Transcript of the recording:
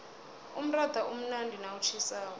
umratha umnandi nawutjhisako